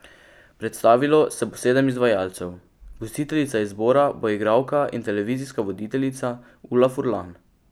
Predstavilo se bo sedem izvajalcev, gostiteljica izbora bo igralka in televizijska voditeljica Ula Furlan.